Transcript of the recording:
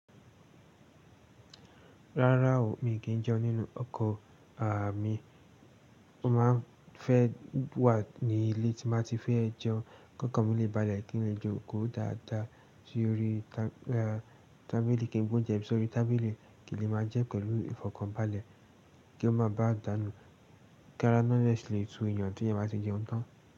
Rárá o, mí kì í jẹun nínú ọkọ̀ àami. Mo máa ń fẹ́ wà ní ilé tí n bá ti fẹ́ jẹun. Kọkan mi lè balẹ̀ kí n lè jokò dáadáa sórí tábìlì kí n gbe ounjẹ mi Sórí tábìlì kì í lè máa jẹ pẹ̀lú ìfọ̀kànbalẹ̀ kí ó má ba à dànù. Kára naa de sì lè tu yàn tí yàn bá ti jẹun tán.